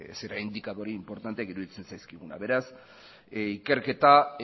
indikadore inportanteak iruditzen zaizkigunak beraz ikerketa